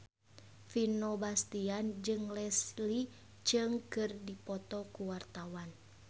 Vino Bastian jeung Leslie Cheung keur dipoto ku wartawan